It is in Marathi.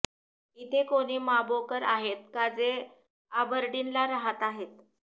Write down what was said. इथे कोणी माबोकर आहेत का जे आबर्डीन ला राहत आहेत